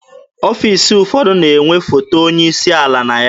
Ọfiisi ụfọdụ na-enwe foto onye isi ala na ya.